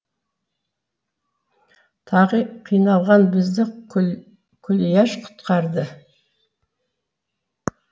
тағы қиналған бізді күлияш құтқарды